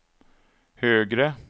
högre